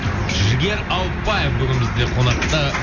жігер ауыпбаев бүгін бізде қонақта